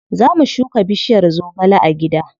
Za mu shuka bishiyar zogale a gida.